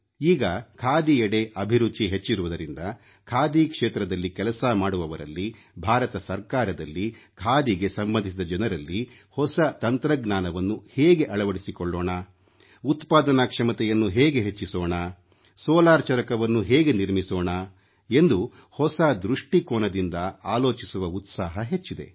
ಈಗ ಖಾದಿಯೆಡೆ ಅಭಿರುಚಿ ಹೆಚ್ಚಿರುವುದರಿಂದ ಖಾದಿ ಕ್ಷೇತ್ರದಲ್ಲಿ ಕೆಲಸ ಮಾಡುವವರಲ್ಲಿ ಭಾರತ ಸರ್ಕಾರದಲ್ಲಿ ಖಾದಿಗೆ ಸಂಬಂಧಿಸಿದ ಜನರಲ್ಲಿ ಹೊಸ ತಂತ್ರಜ್ಞಾನವನ್ನು ಹೇಗೆ ಅಳವಡಿಸಿಕೊಳ್ಳೋಣ ಉತ್ಪಾದನಾ ಕ್ಷಮತೆಯನ್ನು ಹೇಗೆ ಹೆಚ್ಚಿಸೋಣ ಸೋಲಾರ್ ಚರಕವನ್ನು ಹೇಗೆ ನಿರ್ಮಿಸೋಣ ಎಂದು ಹೊಸ ದೃಷ್ಟಿಕೋನದಿಂದ ಆಲೋಚಿಸುವ ಉತ್ಸಾಹ ಹೆಚ್ಚಿದೆ